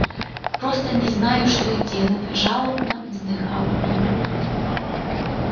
просто не знаю что и делать жалобно вздыхала она